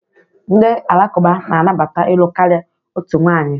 Ndị Alakụba na-anabata ịlụ karịa otu nwanyị.